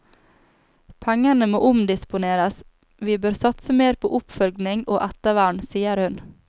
Pengene må omdisponeres, vi bør satse mer på oppfølging og ettervern, sier hun.